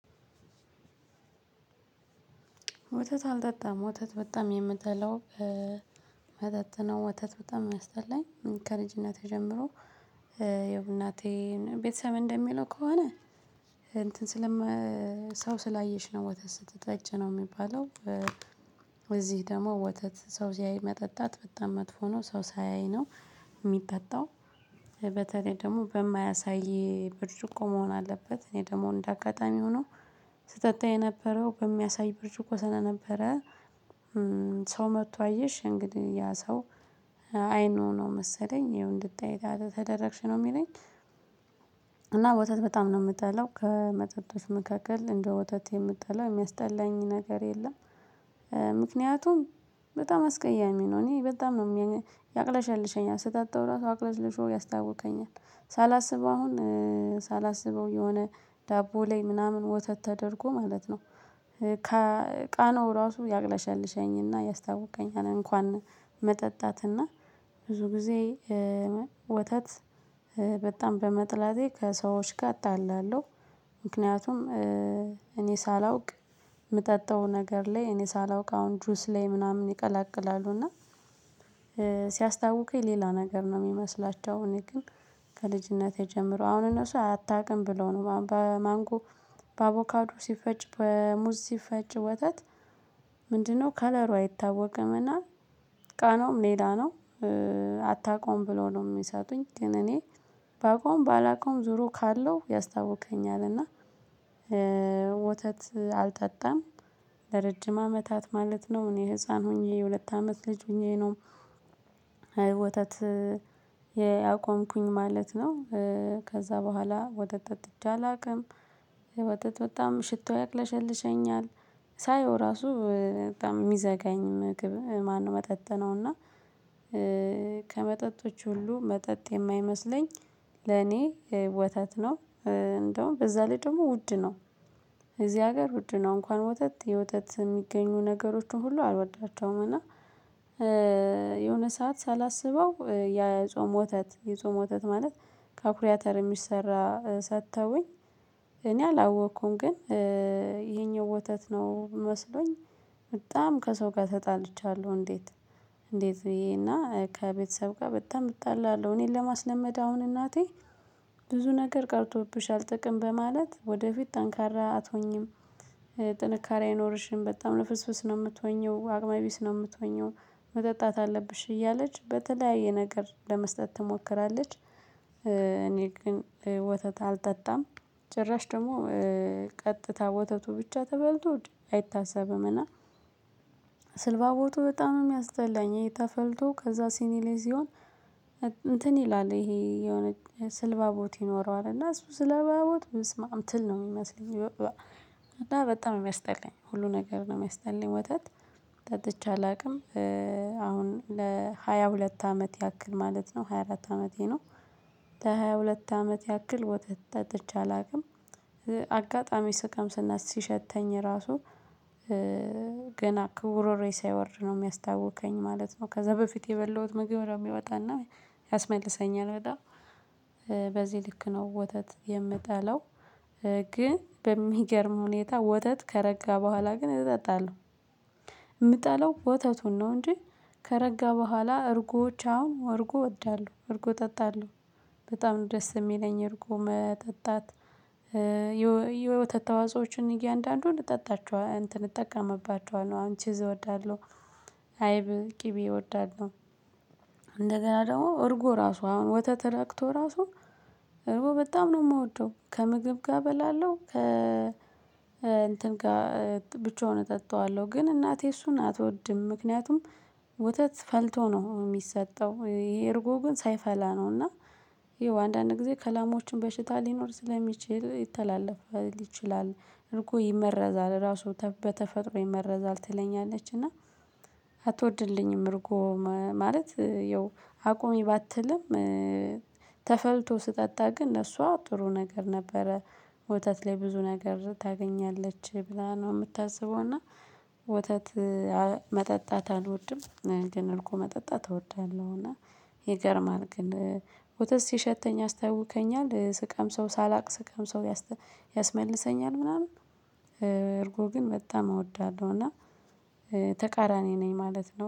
ወተት አልጠጣም ወተት በጣም የምጠላው መጠጥ ነው። ወታት በጣም ሚያስጠላኝ ከልጅነቴ ጀምሮ የእናቴን ቤተሰብ እንደሚለው ከሆነ እንትን ስለም ሰው ስላየሽ ነው ወተት ስትጠጪ ነው የሚባለው። ደግሞ ወተት ሰው ሲያይ መጠጣት በጣም መጥፎ ነው ሰው ሳያይ ነው የሚጠጣው። በተለይ ደግሞ በማያሳይ ብርጭቆ መሆን አለበት። እኔ ደግሞ እንደ አጋጣሚ ሆኖ ስጠጣ የነበረው በሚያሳይ ብርጭቆ ሰለነበረ። ሰው መጥቶ አየሽ እንግዲህ ያ ሰው አይኑ ነው መሰለኝ ይኸው እንድጠይ ተደረግሽ ነው የሚለኝ። እና ወተት በጣም ነው የምጠላው ከመጠጦች መካከል እንደ ወተት የምጠላው የሚያስጠላኝ ነገር የለም። ምክንያቱም በጣም አስቀያሚ ነው። እኔ በጣም ነው ያቅለሻልሸኛል ስጣጣው ራሱ አቅለሽልሾ ያስታውከኛል። ሳላስበው አሁን ሳላስበው የሆነ ዳቦ ላይ ምናምን ወተት ተደርጎ ማለት ነው። ከቃናው ራሱ ያቅለሻልሸኝ እና ያስታውከኛል። እንኳን መጠጣት እና ብዙ ጊዜ ወተት በጣም በመጥላቴ ከሰዎች ጋር እጣላለሁ። ምክንያቱም እኔ ሳላውቅ የምጠጣው ነገር ላይ እኔ ሳላውቅ አሁን ጁስ ላይ ምናምን ይቀላቅላሉ እና ሲያስታውከኝ ሌላ ነገር ነው የሚመስላቸው። እኔ ግን ከልጅነቴ ጀምሮ አሁን እነሱ አታውቅም ብለው ነው በማንጎ በአቮካዶ ሲፈጭ በሙዝ ሲፈጭ ወተት ምንድነው ከለሩ አይታወቅም እና ቃናውም ሌላ ነው። አታውቀውም ብለው ነው የሚሰጡኝ ግን እኔ ባውቀውም ባላውቀውም ዞሮ ካለው ያስታውከኛል። እና ወተት አልጠጣም። ለረጅም አመታት ማለት ነው እኔ ህፃን ሆኜ የሁለት አመት ልጅ ሆኜ ነው ወተት ያቆምኩኝ ማለት ነው። ከዛ በኋላ ወተት ጠጥቼ አላውቅም። ወተት በጣም ሽታው ያቅለሸልሸኛል ሳየው ራሱ በጣም የሚዘጋኝ ምግብ ማነው መጠጥ ነው። እና ከመጠጦች ሁሉ መጠጥ የማይመስለኝ ለኔ ወተት ነው። እንደውም በዛ ላይ ደግሞ ውድ ነው። እዚህ ሀገር ውድ ነው እንኳን ወተት የወተት የሚገኙ ነገሮችን ሁሉ አልወዳቸውም። እና የሆነ ሰዓት ሳላስበው የጾም ወተት የጾም ወተት ማለት ከአኩሪ አተር የሚሰራ ሰጥተውኝ እኔ አላወቅኩም ግን ይሄኛው ወተት ነው መስሎኝ። በጣም ከሰው ጋር ተጣልቻለሁ እንዴት? እንዴት ብዬ እና ከቤተሰብ ጋር በጣም እጣላለሁ። እኔን ለማስለመድ አሁን እናቴ ብዙ ነገር ቀርቶብሻል ጥቅም በማለት ወደፊት ጠንካራ አትሆኚም። ጥንካሬ አይኖርሽም በጣም ልፍስፍስ ነው የምትሆኚው አቅመ ቢስ ነው የምትሆኚው። መጠጣት አለብሽ እያለች በተለያየ ነገር ለመስጠት ትሞክራለች። እኔ ግን ወተት አልጠጣም። ጭራሽ ደግሞ ቀጥታ ወተቱ ብቻ ተፈልቶ አይታሰብም እና ስልባቦቱ በጣም ነው የሚያስጠላኝ። ይሄ ተፈልቶ ከዛ ሲኒ ላይ ሲሆን እንትን ይላል ይሄ የሆነ ስልባቦት ይኖረዋል እና እሱ ስለባቦት በስመአብ ትል ነው የሚመስለኝ። እና በጣም የሚያስጠላኝ ሁሉ ነገር ነው የሚያስጠላኝ ወተት ጠጥቼ አላውቅም። አሁን ለሃያ ሁለት አመት ያክል ማለት ነው ሃያ አራት አመቴ ነው። ለሃያ ሁለት አመት ያክል ወተት ጠጥቼ አላውቅም። አጋጣሚ ስቀምስ እና ሲሸተኝ ራሱ ገና ከጉሮሮዬ ሳይወርድ ነው የሚያስታውከኝ ማለት ነው። ከዛ በፊት የበላሁት ምግብ ነው የሚወጣ እና ያስመልሰኛል። በጣም በዚህ ልክ ነው ወተት የምጠላው። ግን በሚገርም ሁኔታ ወተት ከረጋ በኋላ ግን እጠጣለሁ። የምጠላው ወተቱን ነው እንጂ ከረጋ በኋላ እርጎዎች አሁን እርጎ እወዳለሁ። እርጎ እጠጣለሁ በጣም ነው ደስ የሚለኝ እርጎም መጠጣት። የወተት ተዋጾዎችን እያንዳንዱን እጠጣቸኋለሁ እጠቀምባችኋለሁ አሁን ቺዝ እወዳለሁ። አይብ ቅቤ እወዳለሁ። እንደገና ደግሞ እርጎ ራሱ አሁን ወተት ረግቶ ራሱ እርጎ በጣም ነው የምወደው። ከምግብ ጋር እበላለው ከ እንትን ጋር ብቻውን እጠጣዋለሁ። ግን እናቴ እሱን አትወድም ምክንያቱም ወተት ፈልቶ ነው የሚሰጠው። ይሄ እርጎ ግን ሳይፈላ ነው እና ይሄ አንዳንድ ጊዜ ከላሞችም በሽታ ሊኖር ስለሚችል ይተላለፍ ይችላል። እርጎ ይመረዛል ራሱ በተፈጥሮ ይመረዛል ትለኛለች። እና አትወድልኝም እርጎ ማለት ያው አቁሚ ባትልም። ተፈልቶ ስጠጣ ግን ለሷ ጥሩ ነገር ነበረ ወተት ላይ ብዙ ነገር ታገኛለች ብላ ነው የምታስበው። እና ወተት መጠጣት አልወድም ግን እርጎ መጠጣት እወዳለሁ። እና ይገርማል ግን ወተት ሲሸተኝ ያስታውከኛል። ስቀምሰው ሳላቅ ስቀምሰው ያስመልሰኛል። ምናምን እርጎ ግን በጣም እወዳለሁ። እና ተቃራኒ ነኝ ማለት ነው